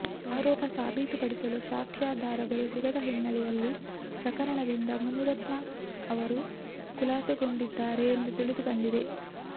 ಆರೋಪ ಸಾಬೀತು ಪಡಿಸಲು ಸಾಕ್ಷ್ಯಾಧಾರಗಳು ಸಿಗದ ಹಿನ್ನೆಲೆಯಲ್ಲಿ ಪ್ರಕರಣದಿಂದ ಮುನಿರತ್ನ ಅವರು ಖುಲಾಸೆಗೊಂಡಿದ್ದಾರೆ ಎಂದು ತಿಳಿದು ಬಂದಿದೆ